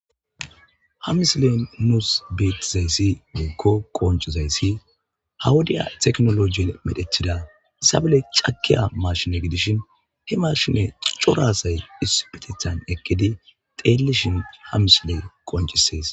hamsilen nuus bitizayssi mikko qoncizayssi hawudiya teknoloji medhethida sabale cakiya marshine gidishin he marshine corasay isupetethan ekkidi teellishin hamsile qoncisees